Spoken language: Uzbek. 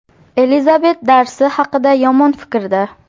Elizabet Darsi haqida yomon fikrda.